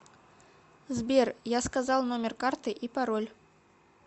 сбер я сказал номер карты и пароль